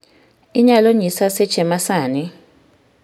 Inyalo nyisa seche ma sani